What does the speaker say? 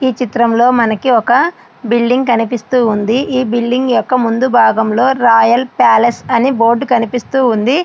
ఈ చిత్రంలో మనకి ఒక బిల్డింగ్ అనేది కనిపిస్తుంది ఈ బిల్డింగ్ యొక్క ముందు భాగంలోని రాయల్ ప్యాలెస్ అని బోర్డు కనిపిస్తుంది.